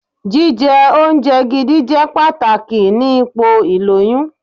Jíjẹ oúnjẹ gidi jẹ́ pàtàkì ni ipò ìlóyún.